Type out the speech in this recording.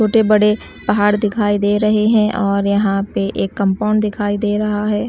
छोटे बड़े पहाड़ दिखाई दे रहे हैं और यहां पे एक कंपाउंड दिखाई दे रहा है।